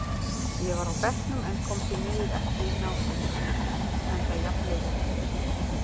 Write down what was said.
Ég var á bekknum en kom því miður ekki inn á enda jafn leikur.